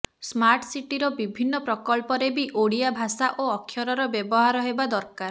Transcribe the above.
smart ସିଟିର ବିଭିନ୍ନ ପ୍ରକଳ୍ପରେ ବି ଓଡ଼ିଆ ଭାଷା ଓ ଅକ୍ଷରର ବ୍ୟବହାର ହେବା ଦରକାର